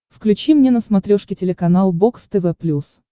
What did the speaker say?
включи мне на смотрешке телеканал бокс тв плюс